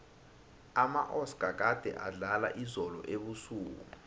amaoscar gade adlala izolo ebusuku